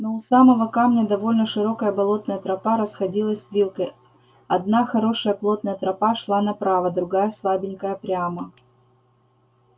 но у самого камня довольно широкая болотная тропа расходилась вилкой одна хорошая плотная тропа шла направо другая слабенькая прямо